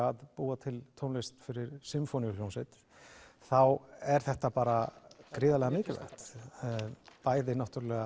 að búa til tónlist fyrir sinfóníuhljómsveit þá er þetta bara gríðarlega mikilvægt bæði